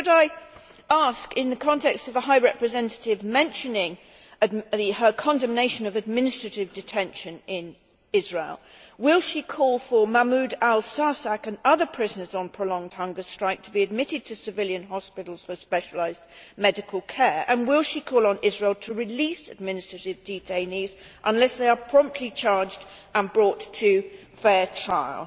Could I ask, in the context of the High Representative mentioning her condemnation of administrative detention in Israel whether she will call for Mahmoud al Sarsak and other prisoners on prolonged hunger strike to be admitted to civilian hospitals for specialised medical care, and whether she will call on Israel to release administrative detainees unless they are promptly charged and brought to fair trial?